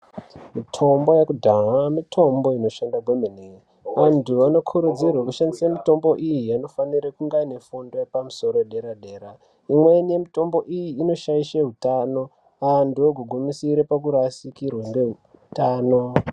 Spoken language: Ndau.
Mitombo yekudhaya mitombo inoshanda kwemene. Vantu vanokurudzirwe kushandisa mitombo iyi vanofanira kunga vane fundo yepamusoro yepadera dera. lmweni mitombo iyi inoshaishe utano antu ogogumisire orasikirwa neutano.